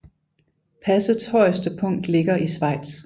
Passets højeste punkt ligger i Schweiz